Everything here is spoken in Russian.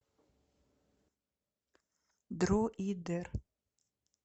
дроидер